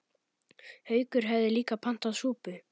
Haukur hafði líka pantað súpu.